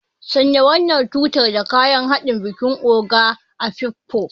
Sanya wannan suturar da kayan haɗi don bikin Ogo Afikpo.